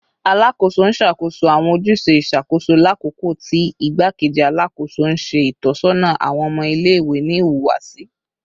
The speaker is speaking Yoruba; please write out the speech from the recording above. Alakoso n ṣakoso awọn ojuse iṣakoso lakoko ti Igbakeji Alakoso n ṣe itọsọna awọn ọmọ ile-iwe ni ihuwasi